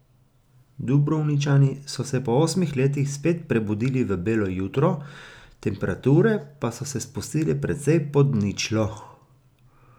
Dubrovničani so se po osmih letih spet prebudili v belo jutro, temperature pa so se spustile precej pod ničlo.